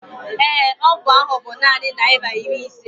ee, ọgwụ ahụ bu naanị naira iri ise